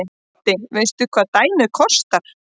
Broddi: Veistu hvað dæmið kostar?